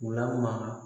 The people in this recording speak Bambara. U lamara